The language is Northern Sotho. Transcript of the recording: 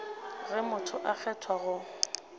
ge motho a kgethwa go